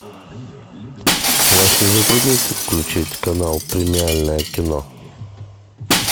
вас не затруднит включить канал премиальное кино